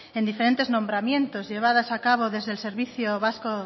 en diferentes nombramientos llevadas a cabo desde el servicio vasco